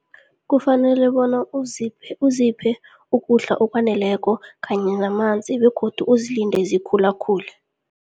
Kufanele bona uziphe, uziphe ukudla okwaneleko kanye namanzi begodu uzilinde zikhulakhule.